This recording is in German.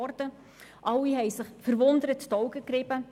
Alle rieben sich verwundert die Augen.